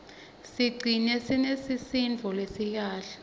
sicigcine sinesisindvo lesikahle